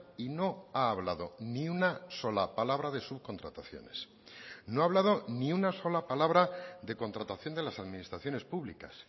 y no ha hablado ni una sola palabra de subcontrataciones no ha hablado ni una sola palabra de contratación de las administraciones públicas